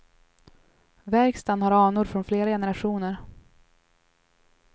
Verkstaden har anor från flera generationer.